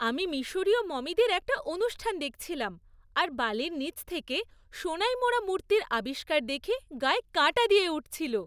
আমি মিশরীয় মমিদের একটা অনুষ্ঠান দেখছিলাম আর বালির নিচ থেকে সোনায় মোড়া মূর্তির আবিষ্কার দেখে গায়ে কাঁটা দিয়ে উঠছিল।